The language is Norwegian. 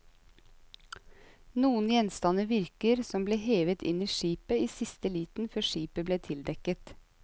Noen gjenstander virker som ble hevet inn i skipet i siste liten før skipet ble tildekket.